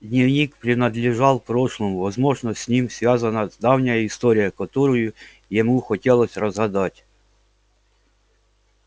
дневник принадлежал прошлому возможно с ним связана давняя история которую ему хотелось разгадать